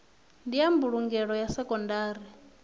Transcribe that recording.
ndi ya mbulungelo ya sekondari